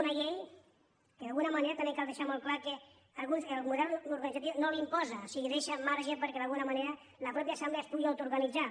una llei que d’alguna manera també cal deixar molt clar que el model organitzatiu no l’imposa o sigui deixa marge perquè d’alguna manera la mateixa assemblea es pugui autoorganizar